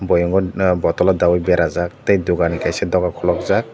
boyem o bottle o daioi berajak tei dugan kaisa doga khulukjak.